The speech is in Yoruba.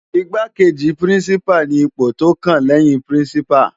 Igbákéji Pirinsipá ni ipó tó kán lèyin Pirinsipá